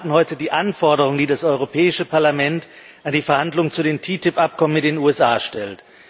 Wir beraten heute die Anforderungen, die das Europäische Parlament an die Verhandlungen zu dem TTIP Abkommen mit den USA stellt.